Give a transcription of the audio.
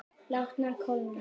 Látnar kólna.